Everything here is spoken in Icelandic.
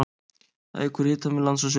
Það eykur hitamun lands og sjávar.